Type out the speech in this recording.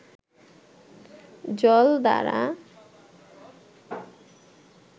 জল দ্বারা